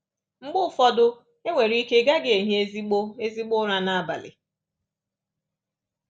Mgbe ụfọdụ, e nwere ike ị gaghị ehi ezigbo ezigbo ụra n’abalị.